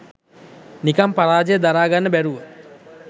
නිකන් පරාජය දරාගන්න බැරිව